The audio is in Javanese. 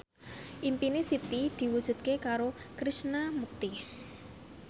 impine Siti diwujudke karo Krishna Mukti